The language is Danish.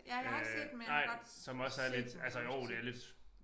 Øh nej som også er lidt altså jo det lidt